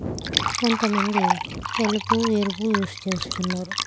కొంత మంది తెలుపు ఎరుపు యూజ్ చేస్తున్నారు.